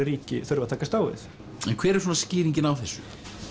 ríki þurfa að takast á við en hver er svona skýringin á þessu